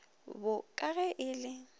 bo ka ge e le